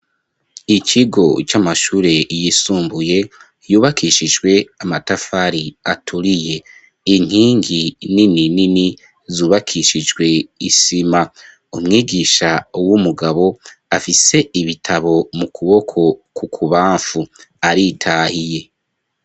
ikigo c'amashure yisumbuye , yubakishijwe amatafari aturiye . inkingi nini nini zubakishijwe isima ,umwigisha w'umugabo afise ibitabo mu kuboko kwu kubamfu , aritahiye.